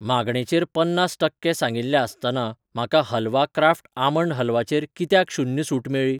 मागणेचेर पन्नास टक्के सांगिल्लि आसतनां म्हाका हलवा क्राफ्ट आमंड हलवाचेर कित्याक शून्य सूट मेळ्ळी?